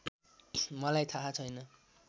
मलाई थाहा छैन